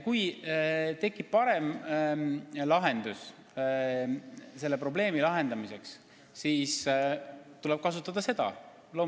Kui tekib parem lahendus selle probleemi likvideerimiseks, siis tuleb loomulikult kasutada seda.